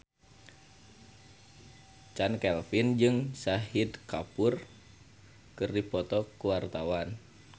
Chand Kelvin jeung Shahid Kapoor keur dipoto ku wartawan